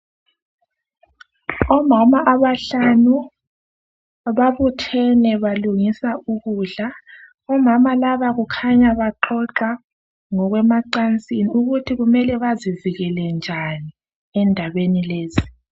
Omama abahlanu babuthene balungisa ukudla. Omama laba kukhanya baxoxa ngokwemancasini ukuthi kumele bazivikele njani endabeni lezi.